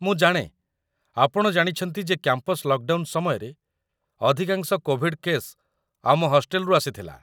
ମୁଁ ଜାଣେ, ଆପଣ ଜାଣିଛନ୍ତି ଯେ କ୍ୟାମ୍ପସ ଲକ୍‌ଡାଉନ୍‌ ସମୟରେ, ଅଧିକାଂଶ କୋଭିଡ୍ କେସ୍ ଆମ ହଷ୍ଟେଲରୁ ଆସିଥିଲା